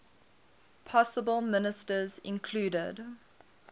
possible ministers included